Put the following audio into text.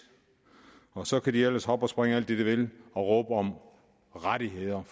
og så kan de ellers hoppe og springe alt det de vil og råbe om rettigheder